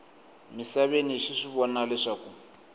misaveni xi swi vona leswaku